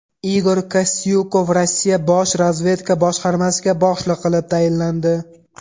Igor Kostyukov Rossiya bosh razvedka boshqarmasiga boshliq qilib tayinlandi.